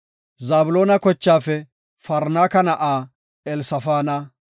Zabloona kochaafe Farnaaka na7aa Elsafaana;